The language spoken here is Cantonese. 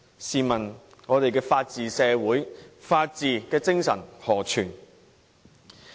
試問我們的法治社會、法治精神何存？